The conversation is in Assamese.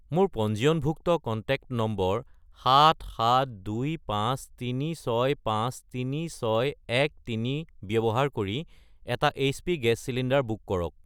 মোৰ পঞ্জীয়নভুক্ত কন্টেক্ট নম্বৰ 77253653613 ব্যৱহাৰ কৰি এটা এইচপি গেছ চিলিণ্ডাৰ বুক কৰক।